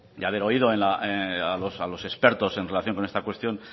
haber oído a los expertos en relación con esta cuestión